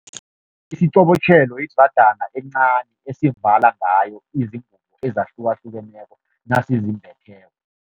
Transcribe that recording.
Isiqobotjhelo yidrajana encani esivala ngayo izingubo ezahlukahlukeneko nasizimbetheko.